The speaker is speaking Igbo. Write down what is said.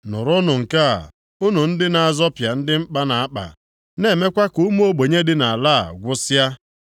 Nụrụnụ nke a, unu ndị na-azọpịa ndị mkpa na-akpa, na-emekwa ka ụmụ ogbenye dị nʼala a gwụsịa,